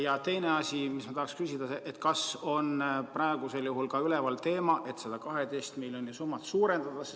Ja teine asi, mis ma tahaksin küsida: kas praegusel juhul on üleval ka teema, et seda 12 miljoni suurust summat suurendada?